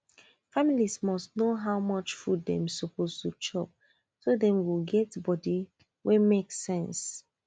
family must know how much food dem suppose to chop so dem go get body wey make sense